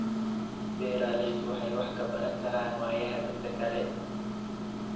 Beeraleydu waxay wax ka baran karaan waayaha dadka kale.